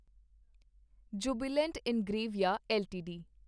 Jubilant Ingrevia LTD